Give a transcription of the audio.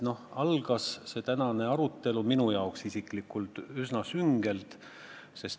Algas see tänane arutelu minu jaoks isiklikult üsna süngelt.